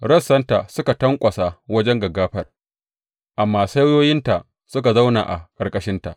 Rassanta suka tanƙwasa wajen gaggafar, amma saiwoyinta suka zauna a ƙarƙashinta.